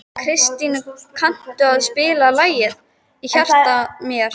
Kristný, kanntu að spila lagið „Í hjarta mér“?